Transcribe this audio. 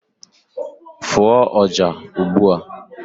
fụọ ọjà ugbu a!